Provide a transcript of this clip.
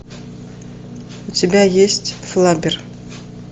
у тебя есть флаббер